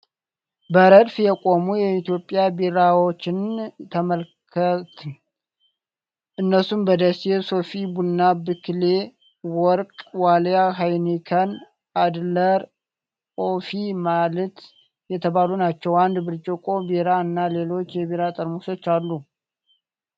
በረድፍ የቆሙ የኢትዮጵያ ቢራዎችን ተመልከት። እነሱም በደሌ፣ ሶፊ፣ ቡና፣ ብክሌ፣ ወርቅ፣ ዋልያ፣ ሀይኒከን፣ አድለር፣ ኦፊ ማልት የተባሉ ናቸው። አንድ ብርጭቆ ቢራ እና ሌሎች የቢራ ጠርሙሶች አሉ።